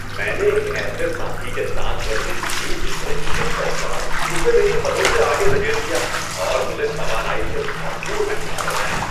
میں نے ایک ایسے ساتھی کے ساتھ ورزش کی جس نے گزشتہ اتوار مجھے میری حدوں سے آگے دھکیل دیا اور مجھے توانائی سے بھرپور محسوس کروایا۔